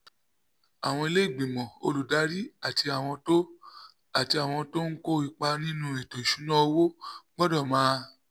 àwọn ilé ìgbìmọ̀ olùdarí àti àwọn tó àti àwọn tó ń kó ipa nínú ètò ìṣúnná owó gbọ́dọ̀ máa